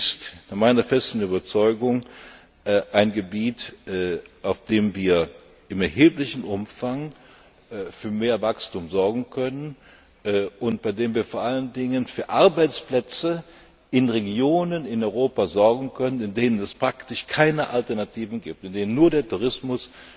Dies ist nach meiner festen Überzeugung ein Gebiet, auf dem wir in erheblichem Umfang für mehr Wachstum sorgen können und bei dem wir vor allen Dingen für Arbeitsplätze in Regionen in Europa sorgen können, in denen es praktisch keine Alternative gibt, in denen nur der Tourismus